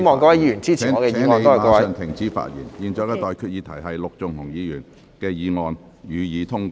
我現在向各位提出的待決議題是：陸頌雄議員動議的議案，予以通過。